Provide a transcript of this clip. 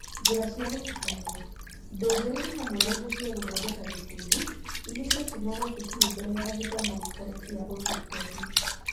Njĩra cia gũtukanio: indo njerũ nĩ hamwe na indo cia gũthondeka gĩkundi iria ciatũmagwo cukuru mbere ya gĩthomo gĩtarĩ kia ũthiũ kwa ũthiũ.